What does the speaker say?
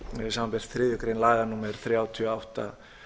samanber þriðju grein laga númer þrjátíu og átta